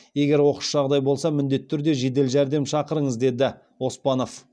егер оқыс жағдай болса міндетті түрде жедел жәрдем шақырыңыздар деді оспанов